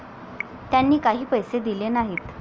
त्यांनी काही पैसे दिले नाहीत.